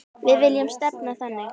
Við viljum stefna þangað.